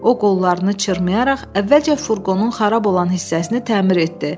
O qollarını çırmayaraq əvvəlcə furqonun xarab olan hissəsini təmir etdi.